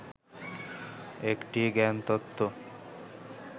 একটি জ্ঞান তত্ত্ব